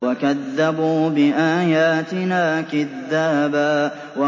وَكَذَّبُوا بِآيَاتِنَا كِذَّابًا